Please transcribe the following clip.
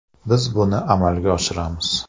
Biz buni amalga oshiramiz”.